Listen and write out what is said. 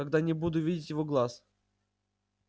когда не буду видеть его глаз